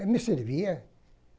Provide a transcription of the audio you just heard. Eu me servia.